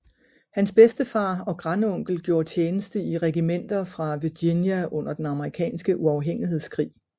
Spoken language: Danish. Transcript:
Hans bedstefar og grandonkel gjorde tjeneste i regimenter fra Virginia under den amerikanske uafhængighedskrig